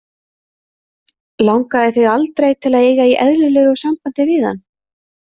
Langaði þig aldrei til að eiga í eðlilegu sambandi við hann?